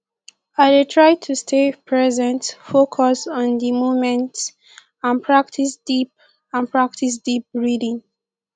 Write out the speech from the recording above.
i dey try to stay present focus on di moment and practice deep and practice deep breathing